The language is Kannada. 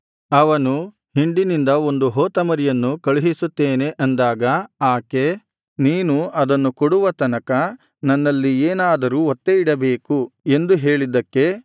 ಅವನು ಹಿಂಡಿನಿಂದ ಒಂದು ಹೋತಮರಿಯನ್ನು ಕಳುಹಿಸುತ್ತೇನೆ ಅಂದಾಗ ಆಕೆ ನೀನು ಆದನ್ನು ಕೊಡುವ ತನಕ ನನ್ನಲ್ಲಿ ಏನಾದರೂ ಒತ್ತೆಯಿಡಬೇಕು ಎಂದು ಹೇಳಿದ್ದಕ್ಕೆ